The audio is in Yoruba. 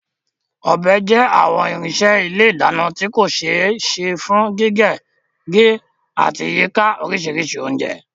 Ọbẹ̀ jẹ́ àwọn irinṣẹ́ ilé ìdáná tí kò ṣe é ṣe fún gígé, gé, àti yíka oríṣiríṣi oúnjẹ.